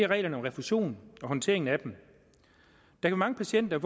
reglerne om refusion og håndteringen af dem der er mange patienter